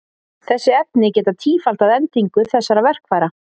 Þessi efni geta tífaldað endingu þessara verkfæra.